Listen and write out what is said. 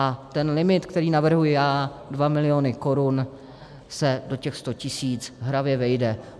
A ten limit, který navrhuji já, 2 miliony korun, se do těch 100 tisíc hravě vejde.